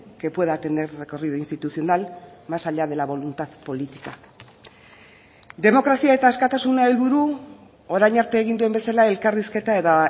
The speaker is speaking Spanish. que pueda tener recorrido institucional más allá de la voluntad política demokrazia eta askatasuna helburu orain arte egin duen bezala elkarrizketa eta